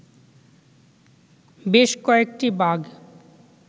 বেশ কয়েকটি বাঘ